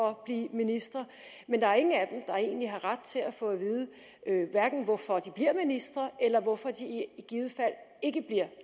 at blive ministre men der er ingen af dem der egentlig har ret til at få at vide hverken hvorfor de bliver ministre eller hvorfor de i givet fald ikke bliver